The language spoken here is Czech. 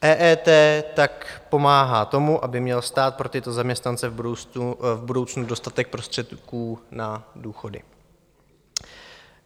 EET tak pomáhá tomu, aby měl stát pro tyto zaměstnance v budoucnu dostatek prostředků na důchody.